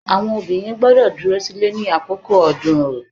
Àwon Obìnrin gbọ́dọ̀ dúró sínú Ilé ní àkókó ọdún orò